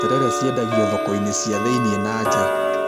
Terere ciendagio thoko-inĩ cia thĩiniĩ na nja